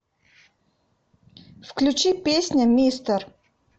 включи песня мистер